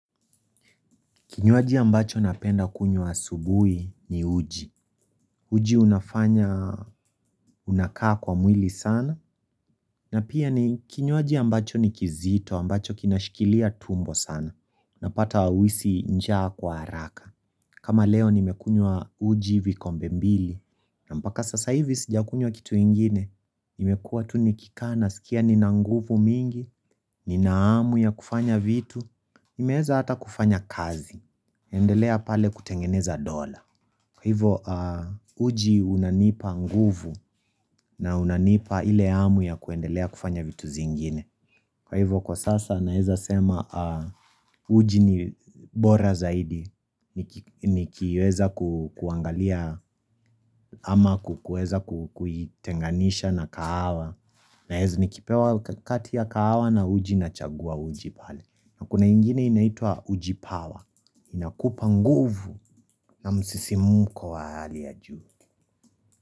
Kinywaji ambacho napenda kunywa asubuhi ni uji. Uji unafanya, unakaa kwa mwili sana. Na pia ni kinywaji ambacho ni kizito, ambacho kinashikilia tumbo sana. Napata hauhisi njaa kwa haraka. Kama leo nimekunywa uji vikombe mbili. Na mpaka sasa hivi sijakunywa kitu ingine. Nimekuwa tu nikikaa, nasikia ni na nguvu mingi, ni nahamu ya kufanya vitu. Nimeweza hata kufanya kazi. Endelea pale kutengeneza dola. Kwa hivyo uji unanipa nguvu na unanipa ile hamu ya kuendelea kufanya vitu zingine. Kwa hivyo kwa sasa naeza sema uji ni bora zaidi. Nikiweza kuangalia ama kuweza kuitenganisha na kahawa. Naeza ni kipewa kati ya kahawa na uji na chagua uji pale. Na kuna ingine inaitwa ujipawa Inakupa nguvu na msisimuko wa hali ya juu.